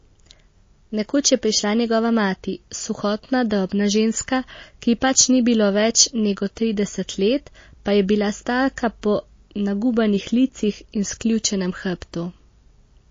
Nekoč je prišla njegova mati, suhotna, drobna ženska, ki ji pač ni bilo več nego trideset let, pa je bila starka po nagubanih licih in sključenem hrbtu.